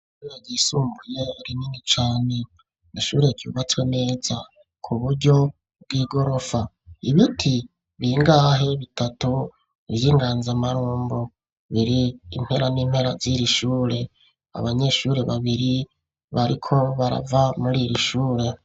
Ishure ryisumbuye rinini cane. Ni ishure ryubatswe neza ku buryo bw'igorofa. Ibiti bingahe bitatu vy'inganzamarumbo biri impera n'impera ziri shure. Abanyeshure babiri bariko barava muri iri shure.